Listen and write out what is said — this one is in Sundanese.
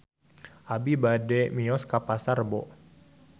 Abi bade mios ka Pasar Rebo